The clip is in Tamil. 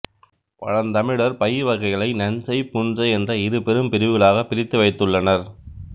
பழந்தமிழர் பயிர் வகைகளை நன்செய் புன்செய் என்ற இரு பெரும் பிரிவுகளாக பிரித்து வைத்துள்ளனர்